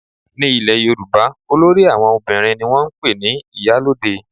Ní ilẹ̀ yorùbá olórí àwọn obìnrin ni wọ́n ń pè ní ìyálóde